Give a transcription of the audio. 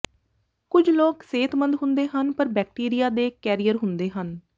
ਕੁਝ ਲੋਕ ਸਿਹਤਮੰਦ ਹੁੰਦੇ ਹਨ ਪਰ ਬੈਕਟੀਰੀਆ ਦੇ ਕੈਰੀਅਰ ਹੁੰਦੇ ਹਨ